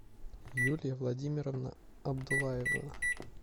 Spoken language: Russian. юлия владимировна абдулаева